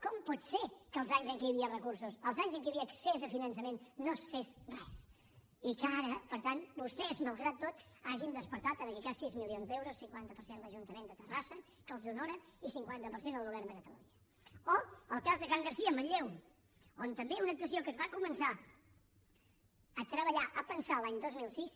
com pot ser que els anys en què hi havia recursos els anys en què hi havia accés a finançament no es fes res i que ara per tant vostès malgrat tot hagin despertat en aquest cas sis milions d’euros cinquanta per cent l’ajuntament de terrassa que els honora i cinquanta per cent el govern de catalunya o el cas de can garcia a manlleu on també una actuació que es va començar a treballar a pensar l’any dos mil sis